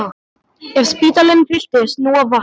Ef spítalinn fylltist nú af vatni!